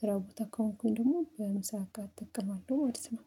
ስራው ቦታ ከሆንኩኝ ደግሞ በምሳቃ አጥቅማለሁ ማለት ነው